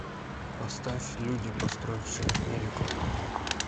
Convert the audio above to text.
поставь люди построившие америку